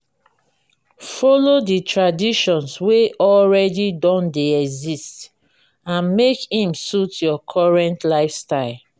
follow the traditions wey already don de exist and make im suit your current lifestyle